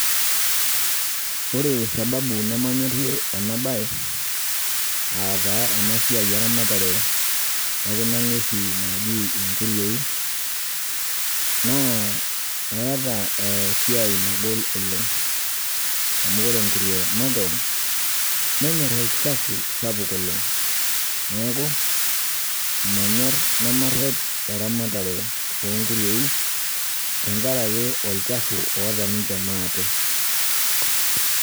Ore sababu nemanyorrie enabaye aataa enasiai eramatare e kuna ng'uesi naaji inkuruei naa eeta eesiai nagol oleng' amu ore engurue makewon nenyorr olchafu sapuk oleng'. Neaku manyorr nemarrep eramatare oonguruei tengarake olchafu oata ninche maate.